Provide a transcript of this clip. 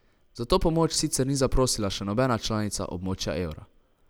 Za to pomoč sicer ni zaprosila še nobena članica območja evra.